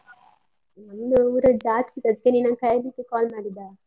ನಮ್ದು ಊರ ಜಾತ್ರೆ ಅದ್ಕೆ ನಿನ್ನನ್ನು ಕರಿಲಿಕ್ಕೆ call ಮಾಡಿದ್ದಾ.